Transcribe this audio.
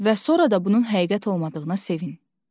Və sonra da bunun həqiqət olmadığına sevin.